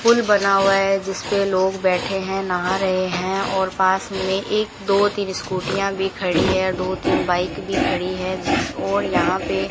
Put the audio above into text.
pool बना हुआ है जिस पे लोग बैठे हैं नहा रहे हैं और पास में एक दो तीन स्कूटीयां भी खड़ी है दो तीन बाइक भी खड़ी है जिस ओर यहां पे--